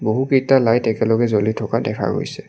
বহুকেইটা লাইট একেলগে জ্বলি থকা দেখা গৈছে।